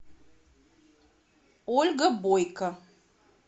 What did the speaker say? ольга бойко